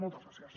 moltes gràcies